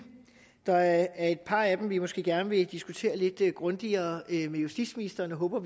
der er et par af dem vi måske gerne vil diskutere lidt grundigere med justitsministeren det håber